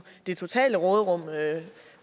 det totale råderum